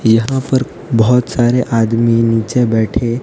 यहां पर बहोत सारे आदमी नीचे बैठे--